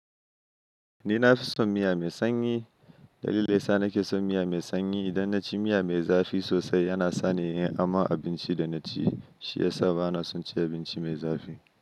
Ni nafi son miya mai sanyi. Dalilin da ya sa nake son miya mai sanyi, idan naci miya mai zafi sosai yana sani yin aman abinci da naci. Shi ya sa bana son cin abinci mai zafi.